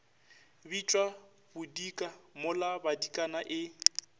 bitšwa bodika mola badikana e